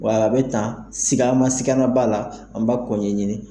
Wa a bɛ tan siga siganna b'a la an b'a ko ɲɛɲini